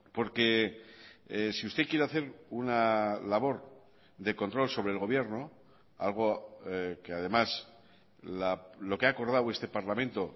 porque si usted quiere hacer una labor de control sobre el gobierno algo que además lo que ha acordado este parlamento